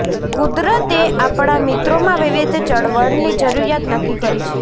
કુદરતએ આપણા મિત્રોમાં વિવિધ ચળવળની જરૂરિયાત નક્કી કરી છે